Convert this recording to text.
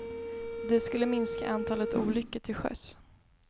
Det skulle minska antalet olyckor till sjöss.